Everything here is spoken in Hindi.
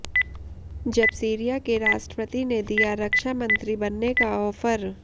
जब सीरिया के राष्ट्रपति ने दिया रक्षा मंत्री बनने का ऑफर